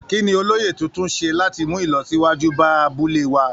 Kí ni olóyè tuntun ṣe láti mú ìlọsíwájú bá abúlé wa?